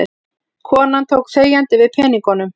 Konan tók þegjandi við peningunum.